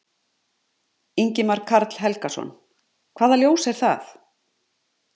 Ingimar Karl Helgason: Hvaða ljós er það?